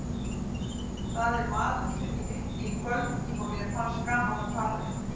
Það er maður sem ég hitti í kvöld og mér fannst gaman að tala við.